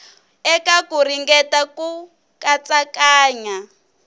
eka ku ringeta ku katsakanya